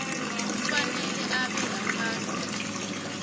kufanele abe ngaphasi